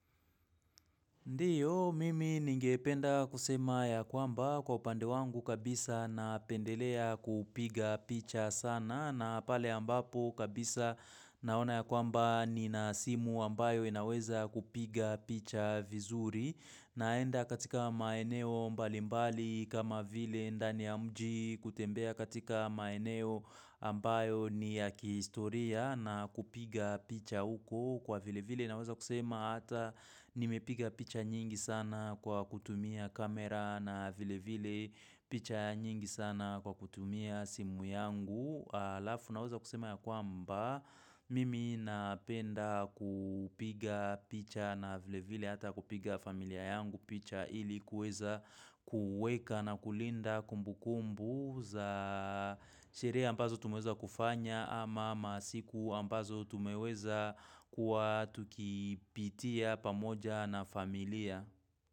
Ndiyo, mimi ningependa kusema ya kwamba kwa upande wangu kabisa napendelea kupiga picha sana na pale ambapo kabisa naona ya kwamba Nina simu ambayo inaweza kupiga picha vizuri naenda katika maeneo mbalimbali kama vile ndani ya mji kutembea katika maeneo ambayo ni ya kihistoria na kupiga picha uko. Kwa vile vile naweza kusema hata nimepiga picha nyingi sana kwa kutumia kamera na vile vile picha nyingi sana kwa kutumia simu yangu Halafu naweza kusema ya kwamba Mimi napenda kupiga picha na vile vile hata kupiga familia yangu picha ili kuweza kueka na kulinda kumbu kumbu za sherehe ambazo tumeweza kufanya ama masiku ambazo tumeweza kuwa tukipitia pamoja na familia.